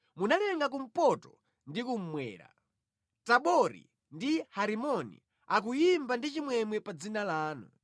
Munalenga Kumpoto ndi Kummwera; Tabori ndi Herimoni akuyimba ndi chimwemwe pa dzina lanu.